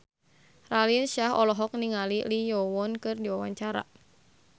Raline Shah olohok ningali Lee Yo Won keur diwawancara